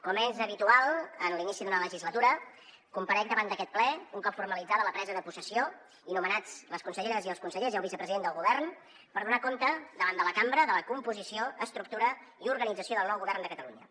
com és habitual en l’inici d’una legislatura comparec davant d’aquest ple un cop formalitzada la presa de possessió i nomenats les conselleres i els consellers i el vicepresident del govern per donar compte davant de la cambra de la composició estructura i organització del nou govern de catalunya